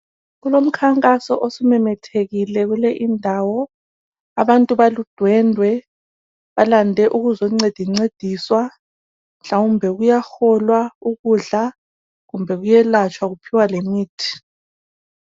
Kulomnkhankaso osumemethekile kule indawo, abantu baludwendwe, balande ukuzoncedincediswa, mhlawumbe kuyaholwa ukudla, kumbe kuyelatshwa, kuphiwa lemithi.